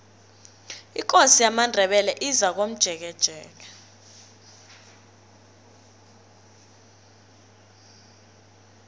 ikosi yamandebele izakomjekejeke